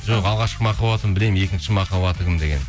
жоқ алғашқы махаббатын білемін екінші махаббаты кім деген